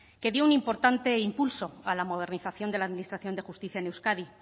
que dio un importante impulso a la modernización de la administración de justicia en euskadi